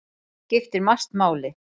Þar skiptir margt máli.